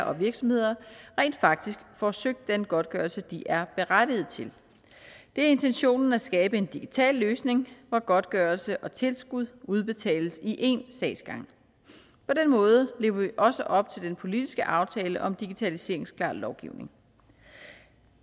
og virksomheder rent faktisk får søgt den godtgørelse de er berettiget til det er intentionen at skabe en digital løsning hvor godtgørelse og tilskud udbetales i én sagsgang på den måde lever vi også op til den politiske aftale om digitaliseringsklar lovgivning